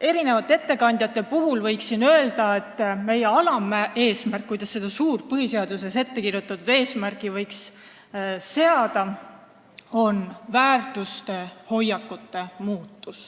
mitme ettekande põhjal öelda, et alaeesmärk, kuidas seda suurt põhiseaduses ettekirjutatud eesmärki võiks saavutada, on väärtuste ja hoiakute muutus.